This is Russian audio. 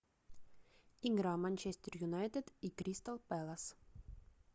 игра манчестер юнайтед и кристал пэлас